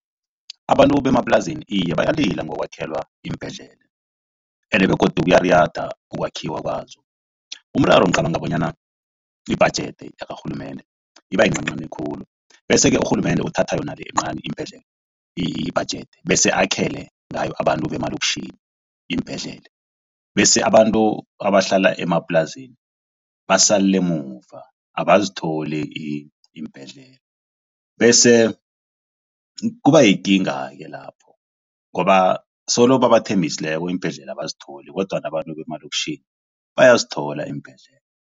Abantu bemaplazini iye bayalila yokwakhelwa iimbhedlela ende begodu kuyariyada ukwakhiwa kwazo. Umraro ngicabanga bonyana yibhajedi yakarhulumende ibayincanincani khulu bese-ke urhulumende uthatha yona le encani ibhajedi besele akhele ngayo abantu bemalokitjhini iimbhedlela bese abantu abahlala emaplazini basalela emuva abazitholi iimbhedlela bese kubayikinga-ke lapho ngoba solo babathembisileko iimbhedlela abazitholi kodwana abantu bemaloktjhini bayazithola iimbhedlela.